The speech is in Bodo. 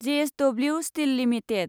JSW steel limited